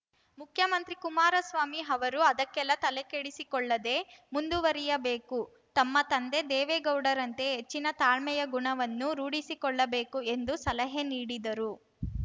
ಮುಖ್ಯಮಂತ್ರಿ ಕುಮಾರಸ್ವಾಮಿ ಅವರು ಅದಕ್ಕೆಲ್ಲಾ ತಲೆಕೆಡಿಸಿಕೊಳ್ಳದೆ ಮುಂದುವರೆಯಬೇಕು ತಮ್ಮ ತಂದೆ ದೇವೇಗೌಡರಂತೆ ಹೆಚ್ಚಿನ ತಾಳ್ಮೆಯ ಗುಣವನ್ನು ರೂಢಿಸಿಕೊಳ್ಳಬೇಕು ಎಂದು ಸಲಹೆ ನೀಡಿದರು